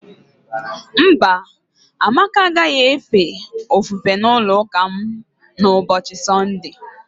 Mba, Amaka agaghị efe ofufe n'ụlọụka m n'ụbọchị Sọnde.